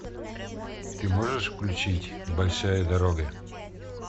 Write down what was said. ты можешь включить большая дорога